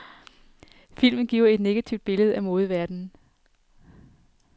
Filmen giver et negativt billede af modeverdenen.